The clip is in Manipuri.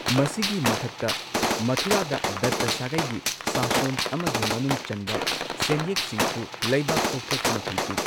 ꯃꯁꯤꯒꯤ ꯃꯊꯛꯇ ꯃꯊꯨꯔꯥꯗ ꯗꯠꯇ ꯁꯥꯒꯩꯒꯤ ꯁꯥꯁꯣꯟ ꯑꯃꯒꯤ ꯃꯅꯨꯡ ꯆꯟꯕ ꯁꯦꯟꯌꯦꯛꯁꯤꯡꯁꯨ ꯂꯩꯕꯥꯛ ꯇꯧꯊꯣꯛꯇꯨꯅ ꯐꯪꯈꯤ꯫